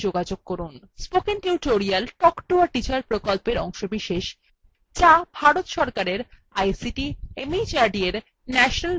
spoken tutorial talk to a teacher প্রকল্পের অংশবিশেষ যা ভারত সরকারের ict mhrd এর national mission on education দ্বারা সমর্থিত